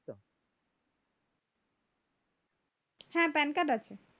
হ্যাঁ কার্ড আছে